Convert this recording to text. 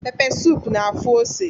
Pepe suup na-afụ ose